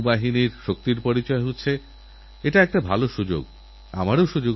আমারপ্রিয় দেশবাসী আমাদের মধ্যে বহু মানুষ আছেন যাঁদের জন্ম হয়েছে স্বাধীনতার পরে